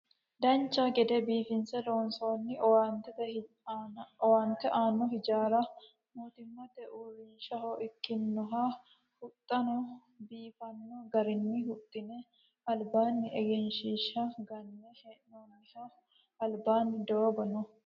Dancha gede biifinse loonsoonni owaante aanno hijaara mootimmate uurrinshaha ikkinoha huxxano biifanno garinni huxxine albaanni egenshiishsha ganne hee'noonniho albaanni doogo no